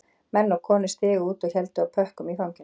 Menn og konur stigu út og héldu á pökkum í fanginu